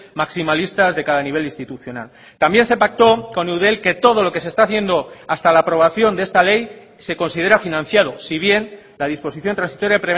maximalistas de cada nivel institucional también se pactó con eudel que todo lo que se está haciendo hasta la aprobación de esta ley se considera financiado si bien la disposición transitoria